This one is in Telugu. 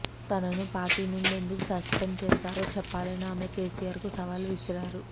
తనను పార్టీ నుండి ఎందుకు సస్పెండ్ చేశారో చెప్పాలని ఆమె కేసీఆర్కు సవాల్ విసిరారు